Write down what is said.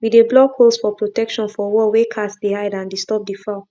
we de block holes for protection for wall wey cats de hid and disturb de fowl